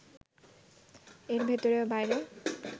এর ভেতরে ও বাইরে